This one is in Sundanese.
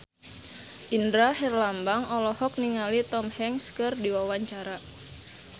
Indra Herlambang olohok ningali Tom Hanks keur diwawancara